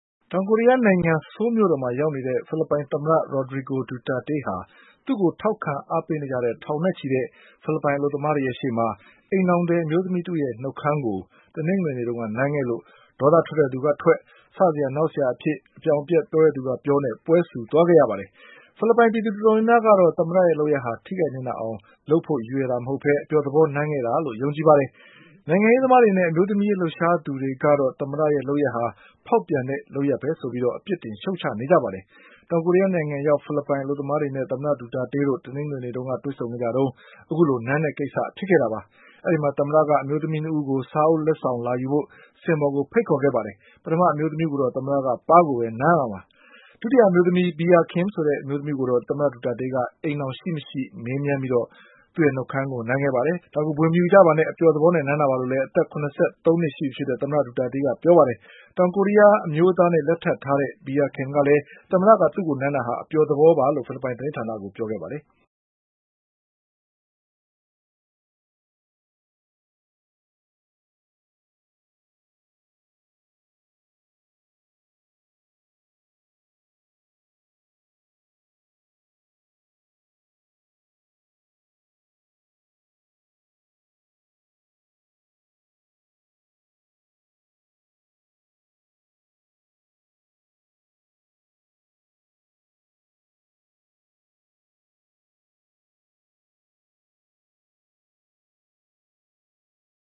တောင်ကိုရီးယားနိုင်ငံ၊ ဆိုးလ်မြို့တော် မှာရောက်နေတဲ့ ဖိလစ်ပိုင်သမ္မတ Rodrigo Duterte ဟာ သူ့ကိုထောက်ခံအားပေး နေကြတဲ့ ထောင်နဲ့ချီတဲ့ ဖိလစ်ပိုင်အလုပ်သမားတွေရဲ့ရှေ့မှာ အိမ်ထောင်သည်အမျိုးသမီးတဦးရဲ့နှုတ်ခမ်းကို တနင်္ဂနွေ နေ့တုန်းက နမ်းခဲ့လို့ ဒေါသထွက်တဲ့သူကထွက် စစရာနောက်စရာအဖြစ်ပြောတဲ့သူကပြောနဲ့ ပွဲဆူသွားခဲ့ရပါတယ်။ ဖိလစ်ပိုင် ပြည်သူတော်တော်များများကတော့ သမ္မတရဲ့လုပ်ရပ်ဟာ ထိခိုက်နစ်နာအောင် ရည်ရွယ်တာမဟုတ်ပဲ အပျော်သဘော နမ်းတာလို့ ယုံကြည်ကြပါတယ်။ နိုင်ငံရေးသမားတွေနဲ့ အမျိုးသမီးရေးလှုပ်ရှားသူတွေကတော့ သမ္မတရဲ့လုပ်ရပ်ဟာ ဖေါက်ပြန်တဲ့လုပ်ရပ်ပဲဆိုပြီး အပြစ်တင်ရှုတ်ချကြပါတယ်။ တောင်ကိုရီးယားရောက် ဖိလစ်ပိုင် အလုပ်သမားတွေနဲ့ သမ္မတဒူတာတေးတို့ တနင်္ဂနွေနေ့ ကတွေ့ဆုံကြတုန်း အခုလိုနမ်းတဲ့ကိစ္စဖြစ်ခဲ့တာပါ။ သမ္မတက အမျိုးသမီးနှစ်ဦးကို စာအုပ်လက်ဆောင်လာယူဖို့ စင်ပေါ်ကိုဖိတ်ခေါ်ခဲ့ပါတယ်။ ပထမအမျိုးသမီးကိုတော့ သမ္မတက ပါးကို ပဲနမ်းပါတယ်။ ဒုတိယအမျိုးသမီး Bea Kim ကိုတော့ သမ္မတဒူတာတေးက အိမ်ထောင်ရှိမရှိ မေးမြန်းပြီး နှုတ်ခမ်းကိုနမ်း ခဲ့တာပါ။ ဒါကို ဗွေမယူပါနဲ့ အပျော်သဘောနဲ့နမ်းတာပါလို့လည်း အသက်၇၃နှစ်ရှိပြီဖြစ်တဲ့ သမ္မတဒူတာတေးကပြောခဲ့ပါ တယ်။ တောင်ကိုရီးယားအမျိုးသားနဲ့လက်ထပ်ထားတဲ့ Bea Kimကလည်း သမ္မတကသူ့ကိုနမ်းတာဟာ အပျော်သဘော ပါလို့ဖိလစ်ပိုင်သတင်းဌာနကိုပြောခဲ့ပါတယ်။